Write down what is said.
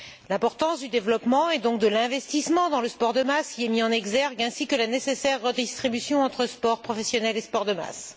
L'importance du développement, et donc de l'investissement dans le sport de masse y est mise en exergue, ainsi que la nécessaire redistribution entre sport professionnel et sport de masse.